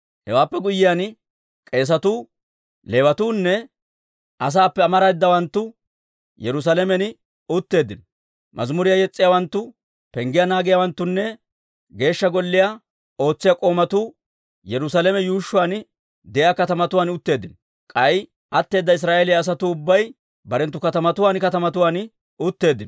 Hewaappe guyyiyaan k'eesatuu, Leewatuunne asaappe amareedawanttu Yerusaalamen utteeddino; mazimuriyaa yes's'iyaawanttu, penggiyaa naagiyaawanttunne Geeshsha Golliyaan ootsiyaa k'oomatuu Yerusaalame yuushshuwaan de'iyaa katamatuwaan utteeddino; k'ay atteeda Israa'eeliyaa asatuu ubbay barenttu katamatuwaan katamatuwaan utteeddino.